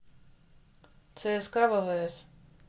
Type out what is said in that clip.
цск ввс